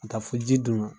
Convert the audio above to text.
Ka taa fo ji dun na